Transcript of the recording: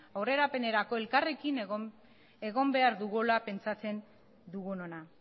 aurrerapenerako elkarrekin egon behar dugula pentsatzen dugunona